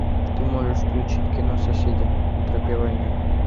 ты можешь включить кино соседи на тропе войны